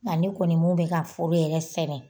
Nka ne kɔni mɔɔ bi ka fɔ yɛrɛ fɛnɛ